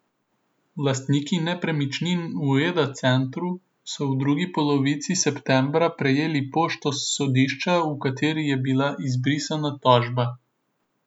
Lastniki nepremičnin v Eda centru so v drugi polovici septembra prejeli pošto s sodišča, v kateri je bila izbrisna tožba.